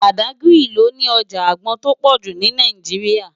Bádágiri lò ni òjá ágbòn tó pòjú ni Náijiriá